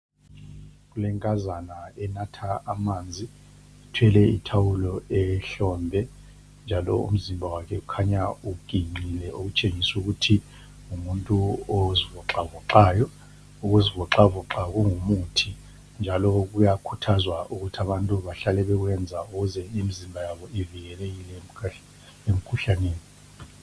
Kule nkazana enatha amanzi. Ithwele I thawulo ehlombe. Njalo umzimba wakhe ukhanya uginqile okutshengisa ukuthi ngumuntu ozivoxavoxayo. Ukuzivoxavoxa kungumuthi. Njalo kuyakhuthazwa ukuthi abantu bahlale bekwenza ukuze imzimba yabo ivikelekile emkhuhlaneni.